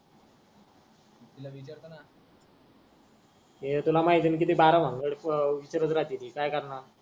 ये तुला माहित आहे ना किती बारा भानगड करत राहते ती काय करणार